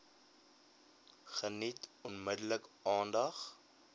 geniet onmiddellik aandag